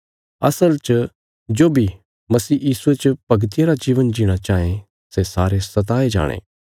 असल च जो बी मसीह यीशुये च भगतिया रा जीवन जीणा चांये सै सारे सताये जाणे